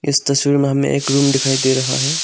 इस तस्वीर में हमें एक रूम दिखाई दे रहा है।